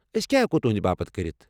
أسۍ کیٚا ہیٚکو تہنٛدِ باپت کٔرِتھ؟